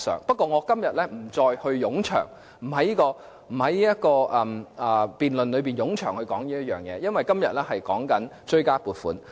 不過，我今天不會在這場辯論中冗長地討論這一點，因為今天討論的是追加撥款。